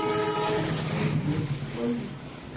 найти двойник